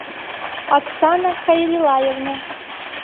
оксана хайвилаевна